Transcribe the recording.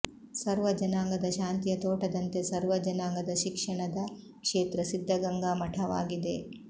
ಸರ್ವ ಜನಾಂಗದ ಶಾಂತಿಯ ತೋಟದಂತೆ ಸರ್ವ ಜನಾಂಗದ ಶಿಕ್ಷಣದ ಕ್ಷೇತ್ರ ಸಿದ್ಧಗಂಗಾ ಮಠವಾಗಿದೆ